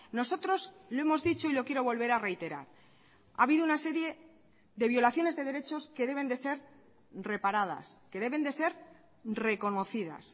nosotros lo hemos dicho y lo quiero volver a reiterar ha habido una serie de violaciones de derechos que deben de ser reparadas que deben de ser reconocidas